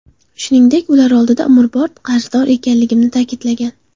Shuningdek, ular oldida umrbod qarzdor ekanligini ta’kidlagan.